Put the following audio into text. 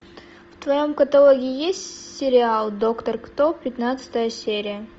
в твоем каталоге есть сериал доктор кто пятнадцатая серия